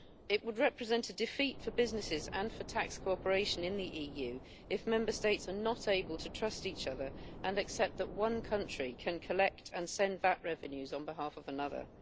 It would represent a defeat for businesses and for tax cooperation in the EU if Member States are not able to trust each other and accept that one country can collect and send VAT revenues on behalf of another.